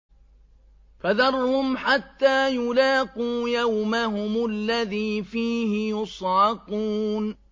فَذَرْهُمْ حَتَّىٰ يُلَاقُوا يَوْمَهُمُ الَّذِي فِيهِ يُصْعَقُونَ